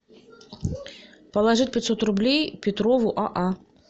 положить пятьсот рублей петрову а а